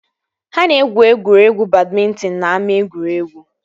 Ha na-egwu egwuregwu badmịntịn n'ama egwuregwu